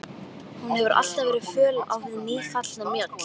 Hún hefur alltaf verið föl á við nýfallna mjöll.